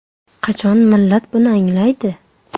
Qachon millat buni anglaydi?